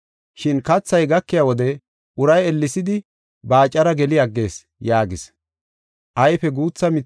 Shin kathay gakiya wode uray ellesidi baacara geli aggees” yaagis.